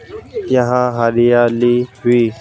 यहां हरियाली वी--